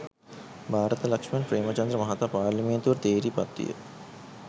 භාරත ලක්ෂ්මන් ප්‍රේමචන්ද්‍ර මහතා පාර්ලිමේන්තුවට තේරී පත්විය